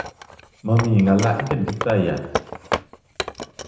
Mimi ngala igen kiptayat